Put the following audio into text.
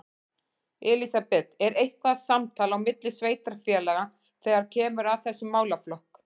Elísabet: Er eitthvað samtal á milli sveitarfélaga þegar kemur að þessum málaflokk?